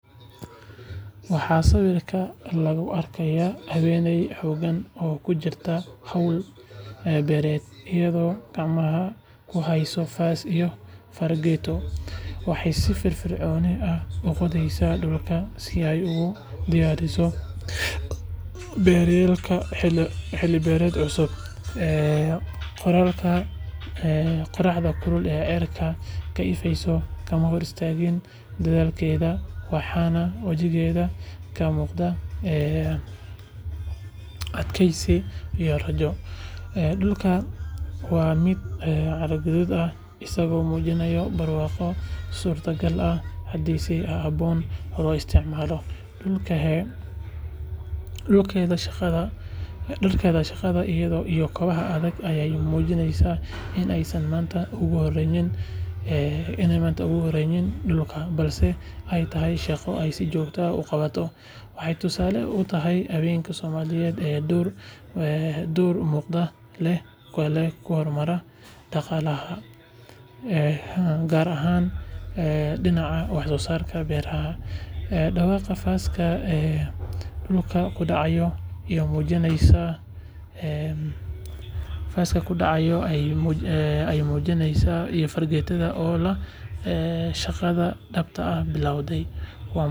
Waxaa sawirka laga arkaa haweeney xooggan oo ku jirta hawl beereed, iyadoo gacmaheeda ku haysta faas iyo fargeeto. Waxay si firfircoon u qodayaan dhulka si ay ugu diyaariso beeraleyda xilli beereed cusub. Qorraxda kulul ee cirka ka ifaysa kama hor istaagin dadaalkeeda, waxaana wejigeeda ka muuqda adkaysi iyo rajo. Dhulku waa mid carro-madaw ah, isagoo muujinaya barwaaqo suurtagal ah haddii si habboon loo isticmaalo. Dharkeeda shaqada iyo kabaha adag ayaa muujinaya in aysan maanta ugu horreynin dhulkan balse ay tahay shaqo ay si joogto ah u qabato. Waxay tusaale u tahay haweenka Soomaaliyeed ee door muuqda ku leh horumarinta dhaqaalaha, gaar ahaan dhinaca wax-soosaarka beeraha. Dhawaqa faasta dhulka ku dhacaya iyo fargeetada oo la qodayo waxay tilmaamayaan in shaqada dhabta ahi bilaabatay.